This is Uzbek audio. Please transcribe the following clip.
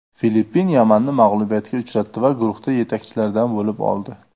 Filippin Yamanni mag‘lubiyatga uchratdi va guruhda yetakchilardan bo‘lib oldi.